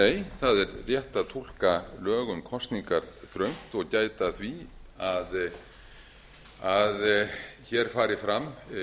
er rétt að túlka lög um kosningar þröngt og gæta að því að hér fari fram